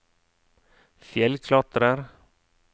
fjellklatrer